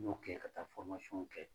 N ɲo kɛ ka taa kɛ